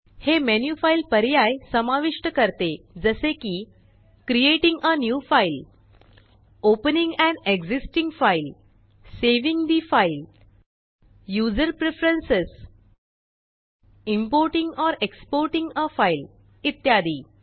हे menu file पर्याय समाविष्ट करते जसे की creating a new file opening an existing file saving the file user preferences importing or exporting a file इत्यादी